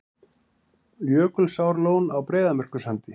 Jökulsárlón á Breiðamerkursandi.